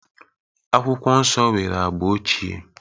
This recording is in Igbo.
Akwụkwọ Nsọ nwere agba ochie.